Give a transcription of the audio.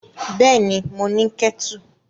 Bẹ́ẹ̀ni, mo ní kẹ́tù.